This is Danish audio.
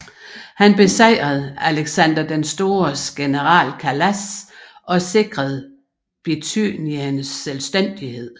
Han besejrede Alexander den Stores general Kalas og sikrede Bithyniens selvstændighed